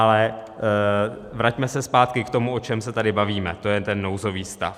Ale vraťme se zpátky k tomu, o čem se tady bavíme, to je ten nouzový stav.